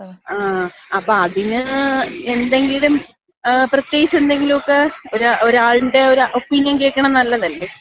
ങ്ങാ. അപ്പൊ അതിന് എന്തെങ്കിലുംപ്രത്യേകിച്ച് എന്തെങ്കിലൊക്ക ഒരാളിന്‍റെ ഒപ്പീനിയൻ കേൾക്കണത് നല്ലതല്ലേ?